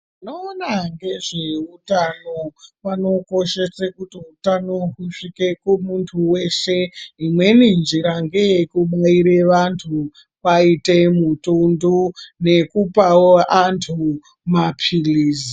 Vanoona ngezveutano vanokoshese kuti utano usvike kumuntu weshe. Imweni njira ngeyekubaira vantu kwaite mutombo nekupawo antu mapilizi.